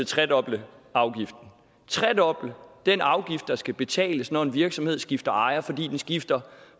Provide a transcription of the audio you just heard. tredoble afgiften tredoble den afgift der skal betales når en virksomhed skifter ejer fordi den skifter